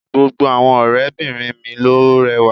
Gbogbo àwọn ọ̀rẹ́ bìnrin mi ló rẹwà